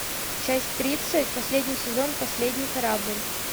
часть тридцать последний сезон последний корабль